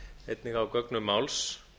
einnig á gögnum máls